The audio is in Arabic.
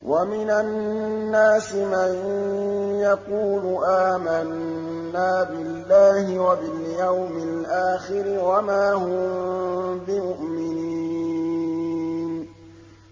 وَمِنَ النَّاسِ مَن يَقُولُ آمَنَّا بِاللَّهِ وَبِالْيَوْمِ الْآخِرِ وَمَا هُم بِمُؤْمِنِينَ